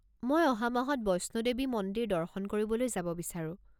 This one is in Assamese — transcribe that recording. মই অহা মাহত বৈষ্ণো দেৱী মন্দিৰ দৰ্শন কৰিবলৈ যাব বিচাৰোঁ।